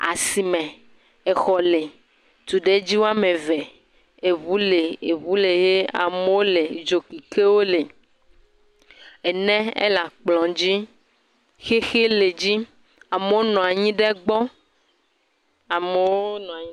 Asime. Exɔ le. Tuɖedzi wo ame ve. Eŋu le, eŋu le ye amewo le dzokekewo le. Ene ele akplɔ̃ dzi. Xixi le edzi. Amewo nɔ anyi ɖe egbɔ. Amewo nɔ anyi.